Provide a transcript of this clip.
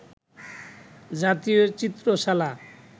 জাতীয় চিত্রশালা